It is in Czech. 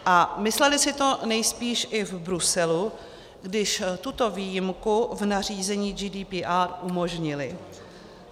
A mysleli si to nejspíš i v Bruselu, když tuto výjimku v nařízení GDPR umožnili.